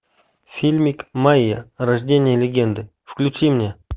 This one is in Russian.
фильмик майя рождение легенды включи мне